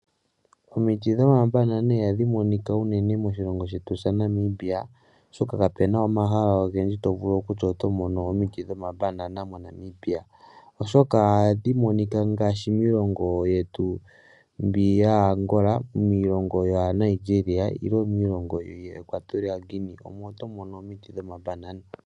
Omiti dhomambanana ihadhi monika unene moshilongo shetu shaNamibia, oshoka kapu na omahala ogendji to vulu okutya oto mono omiti dhombanana moNamibia. Ohadhi monika ngaashi miilongo yetu mbi yaaAngola, miilongo yaaNigeria, miilongo yoEquatorial Guinea omo to mono omiti dhomambanana.